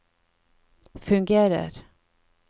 fungerer